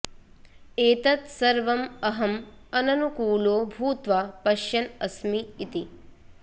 एतत् सर्वम् अहम् अननुकूलो भूत्वा पश्यन् अस्मि इति